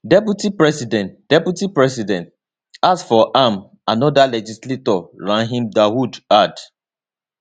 [deputy president] [deputy president] ask for am anoda legislator rahim dawood add